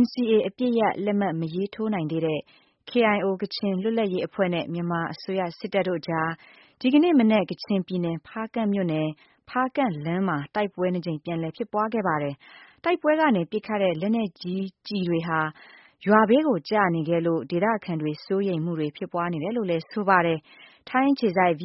NCAအပစ်ရပ်လက်မှတ်မရေးထိုးနိုင်သေးတဲ့ KIOကချင်လွတ်လပ်ရေးအဖွဲ့နဲ့ မြန်မာ့တပ်မတော်တို့အကြား ဒီကနေ့မနက် ကချင်ပြည်နယ်ဖါးကန့်မြို့နယ် ဖါးကန့်လမ်းမှာ တိုက်ပွဲနှစ်ကြိမ်ပြန်လည်ဖြစ်ပွါးခဲ့ပါတယ်။ တိုက်ပွဲ ကနေပစ်ခတ်တဲ့ လက်နက်ကြီးကျည်တွေဟာ ရွာဘေးကို ကျနေခဲ့လို့ဒေသခံတွေ စိုးရိမ်မှုတွေဖြစ်ပွါးနေတယ်လို့လဲ ဆိုပါတယ်။ ဗွီအိုအေထိုင်းအခြေစိုက် သတ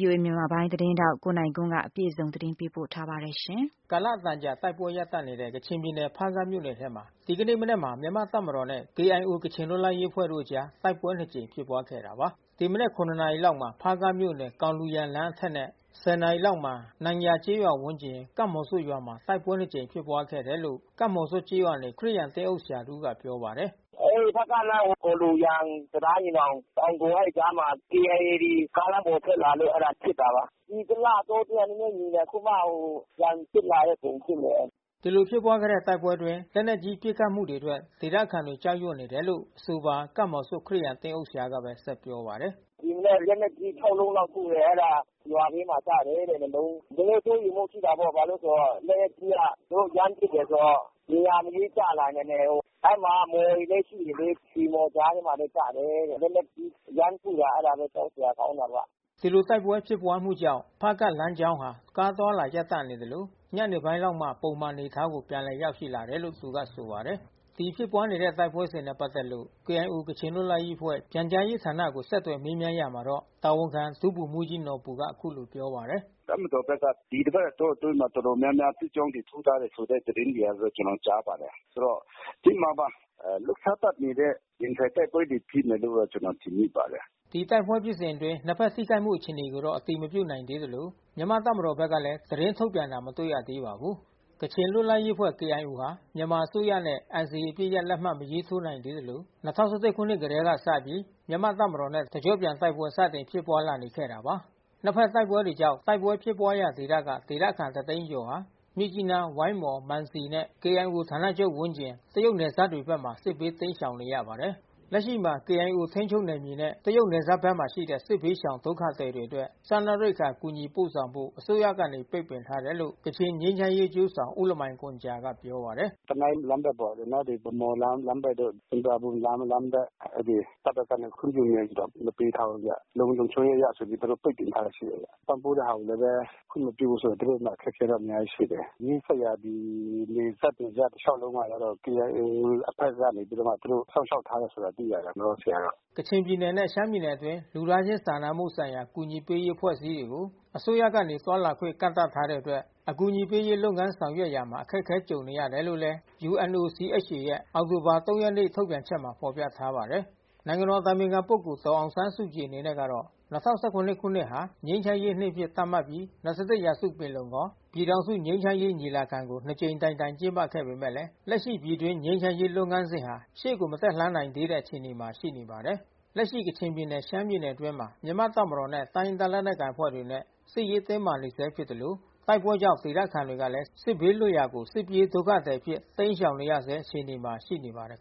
င်းထောက်နိုင်ကွန်းအိန်ကနေသတင်းပေးပို့ထားပါတယ်။ ကာလအတန်ကြာတိုက်ပွဲရပ်တန့်နေတဲ့ ကချင်ပြည်နယ် ဖါးကန့်မြို့နယ်ထဲမှာ ဒီကနေ့မနက်မှာ မြန်မာ့တပ်မတော်နဲ့ KIOကချင်လွတ်လပ်ရေးအဖွဲ့တို့အကြား တိုက်ပွဲနှစ်ကြိမ်ဖြစ်ပွါးခဲ့တာပါ။ ဒီမနက် နာရီလောက်မှာ ဖါးကန့်မြို့နယ် ဂေါင်လူရန်လမ်းအထက်နဲ့ ၁၀ နာရီလောက်မှာ နမ်ယာကျေးရွာဝန်းကျင် ကပ်မှော်ဆွတ်ရွာမှာ တိုက်ပွဲနှစ်ကြိမ်ဖြစ်ပွါးခဲ့တယ်လို့ ကပ်မှော်ဆွတ်ကျေးရွာနေ ခရစ်ယာန်သင်းအုပ်ဆရာ တဦးက ပြောပါတယ်။ "ပေါင်ကုန်နဲ့ ဖါးကန့်လမ်း ဂေါင်လူရန် တံတားညီနောင် ပေါင်ကုန်အဲဒီကြားမှာ KIAတွေကားလမ်းပေါ်ထွက်လာလို့ အဲတာဖြစ်တာပါ။ ဒီတလတောအတွင်း နဲနဲငြိမ်နေတယ်။ အခုမှ ပြန်ဖြစ်လာတဲ့ပုံဖြစ်နေတယ်။" ဒီလိုဖြစ်ပွါးတဲ့တိုက်ပွဲအတွင်း လက်နက်ကြီးပစ်ခတ်မှုတွေအတွက် ဒေသခံတွေ ကြောက်ရွံ့နေတယ်လို့ အဆိုပါ ကပ်မှော်ဆွတ်ခရစ်ယာန် သင်းအုပ်ဆရာကဘဲ ဆက်ပြောပါတယ်။ "ဒီမနက် လက်နက်ကြီး လုံးလောက်ထုတယ်။ ကျွန်တော်တို့ရွာဘေးမှာပေါ့နော် ရွာဘေးမှာကျတယ်တဲ့နှစ်လုံး။နည်းနည်းစိုးရိမ်မှုရှိတာပေါ့ဘာလဲဆိုတော့ လက်နက်ကြီးကသူတို့ရမ်းပစ်တယ်ဆိုတော့ နေရာမရွေးကျလာနိုင်တယ်။ အဲဒီမှာမှော်တွေလဲရှိတယ်လေ။ ရွှေမှော်ကြားထဲမှာလဲကျတယ်တဲ့။ လက်နက်ကြီးရမ်းထုတာ အဲတာဘဲကြောက်စရာ ကောင်းတာဗျ။" ဒီလိုတိုက်ပွဲဖြစ်ပွါးမှုကြောင့် ဖါးကန့်လမ်းကြောင်းဟာ ကားအသွားအလာ ရပ်တန့်နေသလို ညနေပိုင်းလောက်မှ ပုံမှန်အနေအထားကို ပြန်လည်ရောက်ရှိ လာတယ်လို့ သူကဆိုပါတယ်။ ဒီလိုဖြစ်ပွါးနေတဲ့တိုက်ပွဲဖြစ်စဉ်နဲ့ပက်သက်လို့ KIOကချင်လွတ်လပ်ရေးအဖွဲ့ ပြန်ကြားရေးဌာနကို ဆက်သွယ် မေးမြန်းရာမှာတော့ တာဝန်ခံဒုဗိုလ်မှူးကြီးနော်ဘူက အခုလိုပြောပါတယ်။ "တပ်မတော်ဘက်က ဒီတပါတ်တောအတွင်း တော်တော်များများ စစ်ကြောင်းတွေထိုးထားတယ်ဆိုတဲ့သတင်း တွေကိုတော့ကျွန်တော်တို့ကြားပါတယ်။ ဆိုတော့ဖြစ်မှာပါ။ လှုပ်ရှားတပ်တွေနဲ့ ရင်ဆိုင်တိုက်ပွဲဖြစ်မယ်လို့ ကျွန်တော် ထင်မိပါတယ်။" ဒီတိုက်ပွဲဖြစ်အတွင်းနှစ်ဖက်ထိခိုက်မှုအခြေအနေကိုတော့ အတည်မပြုနိုင်သေးသလို မြန်မာ့တပ်မတော်ဘက်က လည်း သတင်းထုတ်ပြန်တာ မတွေ့ရသေးပါဘူး။ ကချင်လွတ်လပ်ရေးအဖွဲ့KIOဟာ မြန်မာအစိုးရနဲ့NCAအပစ်ရပ် လက်မှတ်မရေးထိုးနိုင်သေးသလို ၂၀၁၁ခုနှစ် ကတည်းကစပြီး မြန်မာ့တပ်မတော်နဲ့တကျော့ပြန်တိုက်ပွဲစတင်ဖြစ်ပွါးလာနေခဲ့တာပါ။ နှစ်ဖက်တိုက်ပွဲတွေကြောင့် တိုက်ပွဲဖြစ်ပွါးရာဒေသက ဒေသခံတသိန်းကျော်ဟာ မြစ်ကြီးနား ဝိုင်းမော် မံစီမြို့နယ်နဲ့ KIOဌာနချုပ်ဝန်းကျင် တရုတ်နယ်စပ်တွေဖက်မှာ စစ်ဘေးတိမ်းရှောင်နေရပါတယ်။ လက်ရှိမှာ KIOထိမ်းချုပ်နယ်မြေနဲ့တရုတ်နယ်စပ်ဘက်မှာရှိတဲ့ စစ်ဘေးရှောင် ဒုက္ခသည်တွေအတွက် စားနပ်ရိက္ခာ အကူညီပို့ဆောင်ဖို့ အစိုးရကနေ ပိတ်ပင်ထားတယ်လို့ ကချင်ငြိမ်းချမ်းရေးအကျိုးဆောင် ဦးလမိုင်ဂွမ်ဂျာက ပြောပါ တယ်။ "တနိုင်းလမ်းဘက်တို့ ဗန်းမော်လမ်းဘက်တို့ ဆွမ်ပရာဘွမ်လမ်းဘက် အဲဒီတပ်ဖက်ကတော့ခွင့်ပြုမိန့်မပေးထားဘူးဗျ။ လုံခြုံရေးအရသူတို့ပိတ်ပင်ထားတာရှိတယ်။ ပံ့ပိုးတဲ့ဟာတွေလဲဘဲခွင့်မပြုဘူးဆိုတော့ သူတို့မှာအခက်ခဲတော့ အများကြီးရှိတယ်။ နီးစပ်ရာနယ်စပ်ဒေသတလျှာက်လုံးမှာကျတော့ KIOအဖွဲ့ကနေပြီးတော့မှ သူတို့စောင့်ရှောက်ထား တယ်လို့တော့သိရတယ်။ လောလောဆယ်ကတော့။" ကချင်ပြည်နယ်နဲ့ ရှမ်းပြည်နယ်အတွင်း လူသားချင်းစာနာမှုဆိုင်ရာ အကူအညီပေးရေး အဖွဲ့အစည်းတွေကို အစိုးရက သွားလာခွင့် ကန့်သတ်ထားတဲ့အတွက် အကူအညီပေးရေး လုပ်ငန်းဆောင်ရွက်ရာမှာ အခက်အခဲကြုံနေရတယ်လို့ UNOCHA ရဲ့ အောက်တိုဘာ ရက်နေ့ ထုတ်ပြန်ချက်မှာ ဖော်ပြထားပါတယ်။ နိုင်ငံတော်အတိုင်ပင်ခံပုဂ္ဂိုလ်ဒေါ်အောင်ဆန်းစုကြည်အနေနဲ့ကတော့ ၂၀၁၇ခုနှစ်ဟာ ငြိမ်းချမ်းရေးနှစ်အဖြစ်သတ် မှတ်ပြီး ၂၁ရာစုပင်လုံခေါ် ပြည်ထောင်စုငြိမ်းချမ်းရေး ညီလာခံကိုနှစ်ကြိမ်တိုင်တိုင်ကျင်းပခဲ့ပေမဲ့လက်ရှိပြည်တွင်း ငြိမ်းချမ်းရေး လုပ်ငန်းစဉ်ဟာရှေ့ကို မတက်လှမ်းနိုင်သေးတဲ့အခြေအနေမှာရှိနေပါတယ်။ လက်ရှိ ကချင်ပြည်နယ် ရှမ်းပြည်နယ်အတွင်းမှာ မြန်မာ့တပ်မတော်နဲ့ တိုင်းရင်းသားလက်နက်ကိုင်အဖွဲ့တွေနဲ့စစ်ရေး တင်းမာနေဆဲဖြစ်သလို တိုက်ပွဲတွေကြောင့် ဒေသခံတွေကလဲ စစ်ဘေးလွတ်ရာကို စစ်ပြေးဒုက္ခသည်အဖြစ်တိမ်းရှောင် နေရဆဲအခြေအနေမှာရှိနေပါတယ်